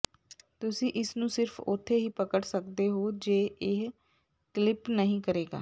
ਤੁਸੀਂ ਇਸ ਨੂੰ ਸਿਰਫ ਉੱਥੇ ਹੀ ਪਕੜ ਸਕਦੇ ਹੋ ਜੇ ਇਹ ਕਲਿਪ ਨਹੀਂ ਕਰੇਗਾ